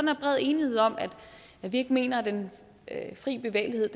er bred enighed om at vi ikke mener at den fri bevægelighed